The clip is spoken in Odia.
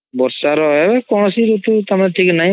ବର୍ଷା ର ହେ କୌଣସି ରୁତୁ ସମଯ ଠିକ୍ ନାହିଁ